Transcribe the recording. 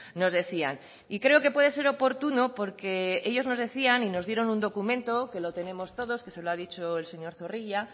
nos decían y creo que puede ser oportuno porque ellos nos decían y nos dieron un documento que lo tenemos todos que se lo ha dicho el señor zorrilla